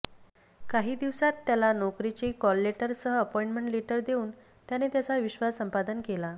काही दिवसांत त्याला नोकरीचे कॉललेटरसह अपॉईंटमेंट लेटर देऊन त्याने त्याचा विश्वास संपादन केला